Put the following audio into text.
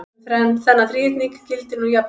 Um þennan þríhyrning gildir nú jafnan